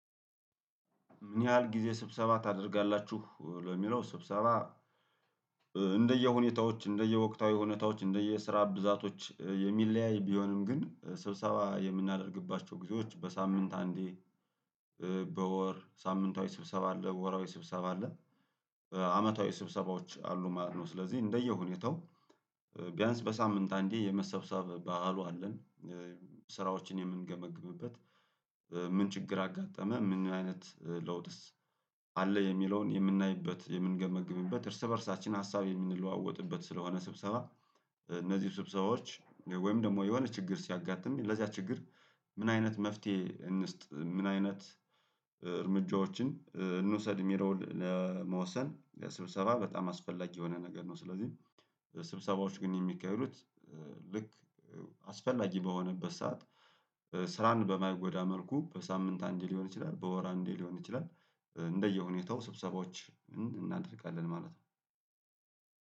ምን ያህል ጊዜ ስብሰባ ታደርጋላችሁ ለሚለው ስብሰባ? እንደየሁኔታዎች እንደየወቅታዊ ሁኔታዎች እንደየስራ ብዛቶች የሚለያይ ቢሆንም ግን ስብሰባ የምናደርግባቸው ጊዜዎች በሳምንት አንዴ በወር ሳምንታዊ ስብሰባ አለ ወርሃዊ ስብሰባ አለ አመታዊ ስብሰባዎች አሉ ማለት ነው። ስለዚህ እንደየሁኔታው ቢያንስ በሳምንት አንዴ የመሰብሰብ ባህሉ አለን። ስራዎችን የምንገመግምበት ምን ችግር አጋጠመ ምን አይነት ለውጥስ አለ የሚለውን የምናይበት የምንገመግምበት እርስ በእርሳችን ሀሳብ የምንለዋወጥበት ስለሆነ ስብሰባ። እነዚህ ስብሰባዎች ወይም ደግሞ የሆነ ችግር ሲያጋጥም ለዚያ ችግር ምን አይነት መፍትሄ እንስጥ ምን አይነት እርምጃዎችን እንውሰድ የሚለውን ለመወሰን ለስብሰባ በጣም አስፈላጊ የሆነ ነገር ነው። ስለዚህ ስብሰባዎች ግን የሚካሄዱት ልክ አስፈላጊ በሆነበት ሰዓት ስራን በማይጎዳ መልኩ በሳምንት አንዴ ሊሆን ይችላል በወር አንዴ ሊሆን ይችላል። እንደየሁኔታው ስብሰባዎች እናደርጋለን ማለት ነው።